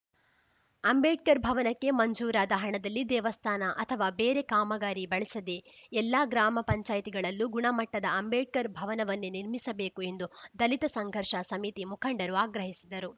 ಅಂಬೇಡ್ಕರ್‌ ಭವನಕ್ಕೆ ಮಂಜೂರಾದ ಹಣದಲ್ಲಿ ದೇವಸ್ಥಾನ ಅಥವಾ ಬೇರೆ ಕಾಮಗಾರಿ ಬಳಸದೆ ಎಲ್ಲಾ ಗ್ರಾಮ ಪಂಚಾಯತಿಗಳಲ್ಲೂ ಗುಣಮಟ್ಟದ ಅಂಬೇಡ್ಕರ್‌ ಭವನವನ್ನೇ ನಿರ್ಮಿಸಬೇಕು ಎಂದು ದಲಿತ ಸಂಘರ್ಷ ಸಮಿತಿ ಮುಖಂಡರು ಆಗ್ರಹಿಸಿದರು